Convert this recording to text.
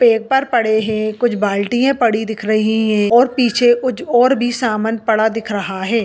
Paper पड़े है कुछ बाल्टियां पड़ी दिख रही है और पीछे कुछ और भी सामन पड़ा दिख रहे है।